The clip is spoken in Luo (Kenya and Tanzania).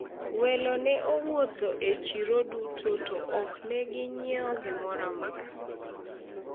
welo ne owuotho e chiro duto to ok ne ginyiewo gimoro amora